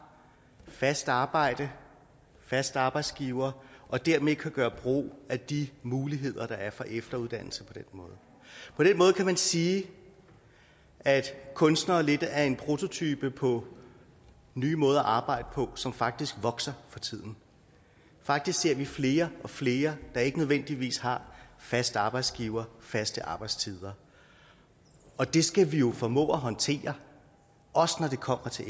fast arbejde fast arbejdsgiver og dermed kan gøre brug af de muligheder der er for efteruddannelse på den måde på den måde kan man sige at kunstnere lidt er en prototype på nye måder at arbejde på som faktisk vokser for tiden faktisk ser vi flere og flere der ikke nødvendigvis har fast arbejdsgiver faste arbejdstider og det skal vi jo formå at håndtere også når det kommer til